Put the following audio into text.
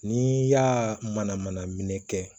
N'i y'a mana mana minɛ kɛ